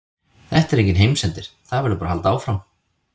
Þetta er enginn heimsendir, það verður bara að halda áfram.